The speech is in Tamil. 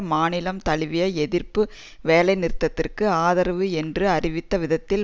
மாநிலம் தழுவிய எதிர்ப்பு வேலை நிறுத்தத்திற்கு ஆதரவு என்று அறிவித்த விதத்தில்